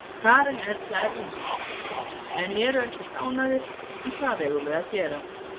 Karen Erla Erlingsdóttir: Menn eru ekkert ánægðir, en hvað eigum við að gera?